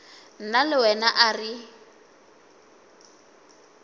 nna le wena a re